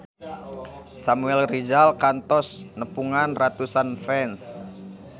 Samuel Rizal kantos nepungan ratusan fans